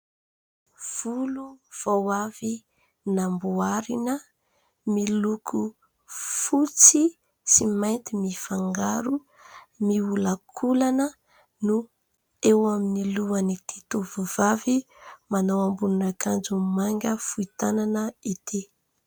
Volo vao avy namboarina miloko fotsy sy mainty mifangaro, miolakolana ny eo amin'ny lohan'ity tovovavy. Manao ambonina akanjo mainga fohy tanana izy ity.